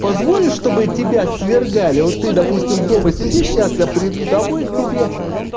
позвонить чтобы тебя свергали вот ты допустим дома сидишь сейчас я приду домой к тебе